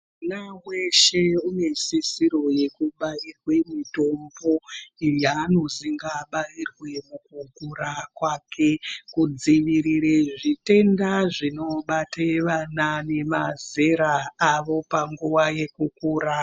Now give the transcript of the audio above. Mwana weshe unoesisiro yekubairwe mutombo yaanozi abairwe mukukura kwake kudzivirire zvitendazvinobate ana nemazera awo munguwa yekukura.